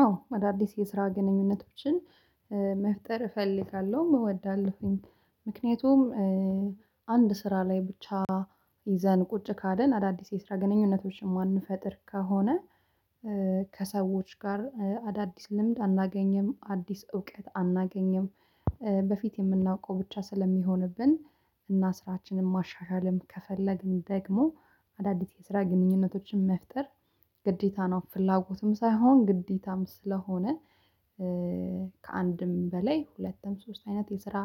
አዎ አዳዲስ የስራ ግንኙነቶችን መፍጠር እፈልጋለሁ እወዳለሁኝ ምክንያቱም አንድ ስራ ላይ ብቻ ይዘን ቁጭ ካልን አዳዲስ የስራ ግንኙነቶችን የማንፈጥር ከሆነ። ከሰዎች ጋር አዳዲስ ልምድ አናገኝም አዲስ እውቀት አናገኝም። በፊት የምናውቀው ብቻ ስለሚሆንብን እና ስራችንን ማሻሻልም ከፈለግን ደግሞ አዳዲስ የስራ ግንኙነቶችን መፍጠር ግዴታ ነው ፍላጎትም ሳይሆን ግዴታም ስለሆነ። ከአንድም በላይ ሁለትም ሶስት አይነት የስራ